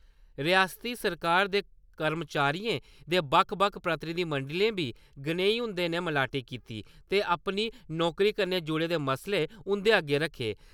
रियास्ती सरकार दे कर्मचारियें दे बक्ख बक्ख प्रतिनिधिमंडलें बी गनेई हुंदे कन्नै मलाटी कीती ते अपनी नौकरी कन्नै जुड़े दे मसले उं'दे अग्गै रक्खे।